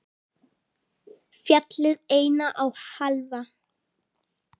Fjallið eina og hálfa.